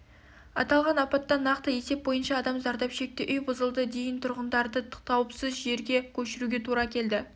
аталған апаттан нақты есеп бойынша адам зардап шекті үй бұзылды дейін тұрғындарды қауіпсіз жерге көшіруге тура келді